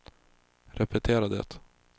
repetera det